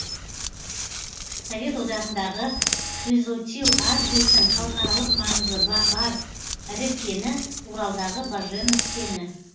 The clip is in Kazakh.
совет одағындағы хризотил асбестің халықаралық маңызы бар ірі кені уралдағы баженов кені